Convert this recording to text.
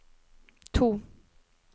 to